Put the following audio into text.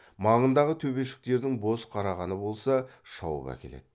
маңындағы төбешіктердің боз қарағаны болса шауып әкеледі